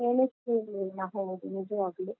ಎಣಿಸಿರ್ಲಿಲ್ಲ ಹೌದು ನಿಜವಾಗ್ಲೂ.